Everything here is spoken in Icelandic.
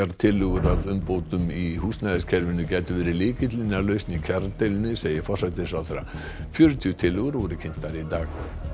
tillögur að umbótum í húsnæðiskerfinu gætu verið lykillinn að lausn í kjaradeilunni segir forsætisráðherra fjörutíu tillögur voru kynntar í dag